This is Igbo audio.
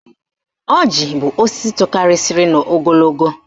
Ọjị bụ osisi tokarisiri n'ogologo